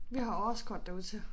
Vi har årskort derud til